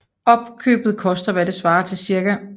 Opkøbet koster hvad der svarer til ca